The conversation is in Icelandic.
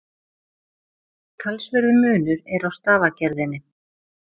Talsverður munur er á stafagerðinni.